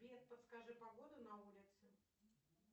сбер подскажи погоду на улице